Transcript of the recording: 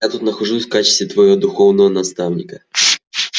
я тут нахожусь в качестве твоего духовного наставника